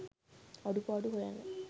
අඩුපාඩු හොයන්න